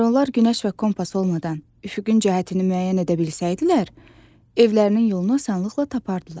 Əgər onlar günəş və kompas olmadan üfüqün cəhətini müəyyən edə bilsəydilər, evlərinin yolunu asanlıqla tapardılar.